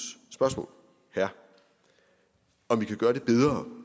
spørgsmål om vi kan gøre det bedre